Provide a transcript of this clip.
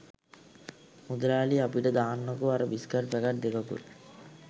මුදලාලි අපිට දාන්නකෝ අර බිස්කට් පැකට් දෙකකුත්